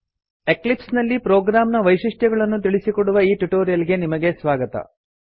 ellipse ನಲ್ಲಿ program ನ ವೈಶಿಷ್ಟ್ಯಗಳನ್ನು ತಿಳಿಸಿಕೊಡುವ ಈ ಟ್ಯುಟೋರಿಯಲ್ ಗೆ ನಿಮಗೆ ಸ್ವಾಗತ